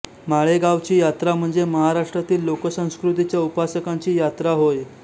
माळेगावची यात्रा म्हणजे महाराष्ट्रातील लोकसंस्कृतीच्या उपासकांची यात्रा होय